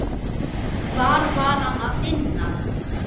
Hvar var Hann að finna?